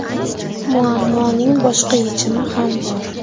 Muammoning boshqa yechimi ham bor.